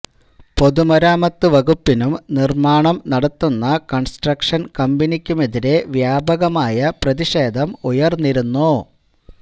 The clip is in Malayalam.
പൊതുമരാമത്ത് വകുപ്പിനും നിർമ്മാണം നടത്തുന്ന കൺസ്ട്രക്ഷൻ കമ്പനിക്കുമെതിരെ വ്യാപകമായ പ്രതിഷേധം ഉയർന്നിരുന്നു